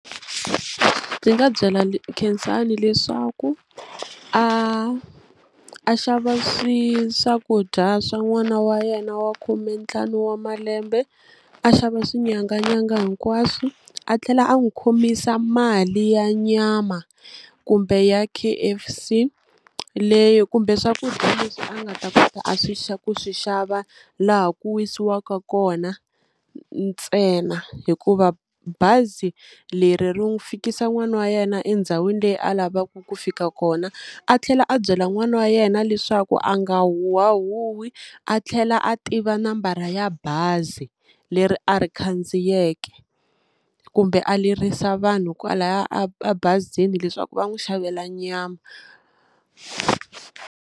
Ndzi nga byela Khensani leswaku a a xava swi swakudya swa n'wana wa yena wa khumentlhanu wa malembe a xava swinyanganyanga hinkwaswo a tlhela a n'wi khomisa mali ya nyama kumbe ya K_F_C leyi kumbe swakudya leswi a nga ta kota a swi ku swi xava laha ku wisiwaka kona ntsena hikuva bazi leri ri n'wu fikisa n'wana wa yena endhawini leyi a lavaka ku fika kona a tlhela a byela n'wana wa yena leswaku a nga huhwahuhwi a tlhela a tiva nambara ya bazi leri a ri khandziyeke kumbe a lerisa vanhu kwalaya a a bazini leswaku va n'wi xavela nyama.